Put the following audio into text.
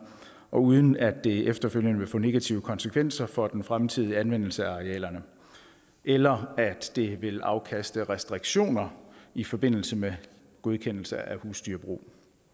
og uden at det efterfølgende vil få negative konsekvenser for den fremtidige anvendelse af arealerne eller at det vil afkaste restriktioner i forbindelse med godkendelse af husdyrbrug